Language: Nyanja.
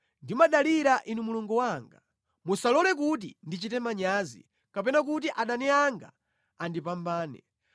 Ndimadalira Inu Mulungu wanga. Musalole kuti ndichite manyazi kapena kuti adani anga andipambane.